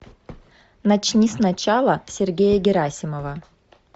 начни с начала сергея герасимова